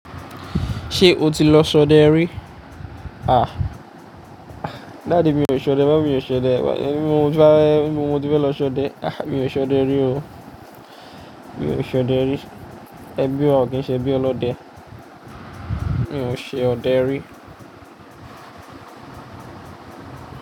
Ṣé o ti lọ ṣọdẹ rí? À, daddy mi ò ṣe ọdẹ, mummy mi ò ṣe ọdẹ, mo ti fẹ́, mo ti fẹ́ lọ ṣe ọdẹ. Àh, mi ò ṣe ọdẹ rí o, mi ò ṣe ọdẹ rí. Ẹbí o, kì í ṣe bí ọlọ́dẹ. Mi ò ṣe ọdẹ rí.